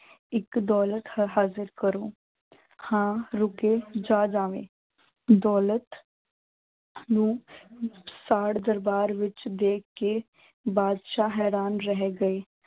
ਇੱਕ ਦੌਲਤ ਹ ਹਾਜ਼ਰ ਕਰੋ, ਹਾਂ ਰੁੱਕੇ ਜਾ ਜਾਵੇਂ ਦੌਲਤ ਨੂੰ ਸਾੜ ਦਰਬਾਰ ਵਿੱਚ ਦੇਖ ਕੇ ਬਾਦਸ਼ਾਹ ਹੈਰਾਨ ਰਹਿ ਗਏ।